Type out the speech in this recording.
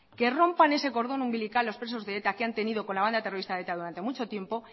que rompan ese cordón umbilical los presos de eta que han tenido con la banda terrorista eta durante mucho tiempo